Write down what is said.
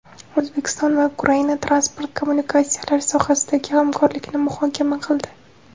O‘zbekiston va Ukraina transport kommunikatsiyalari sohasidagi hamkorlikni muhokama qildi.